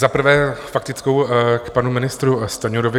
Za prvé, faktickou k panu ministru Stanjurovi.